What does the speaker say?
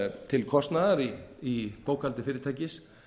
til kostnaðar í bókhaldi fyrirtækis